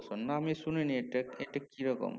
না আমি শুনি নি এটা এটা কি রকম